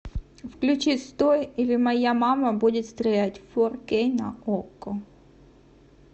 включи стой или моя мама будет стрелять фор кей на окко